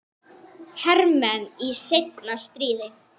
hermenn í seinna stríði.